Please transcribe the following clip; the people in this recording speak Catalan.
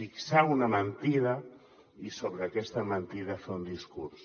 fixar una mentida i sobre aquesta mentida fer un discurs